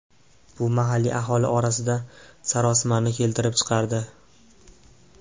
Bu mahalliy aholi orasida sarosimani keltirib chiqardi.